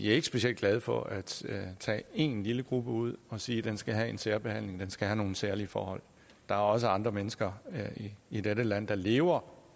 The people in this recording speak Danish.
ikke specielt glade for at tage en lille gruppe ud og sige at den skal have særbehandling at den skal have nogle særlige forhold der er også andre mennesker i dette land der lever